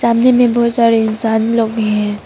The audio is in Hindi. सामने में बहुत सारे इन्सान लोग भी हैं।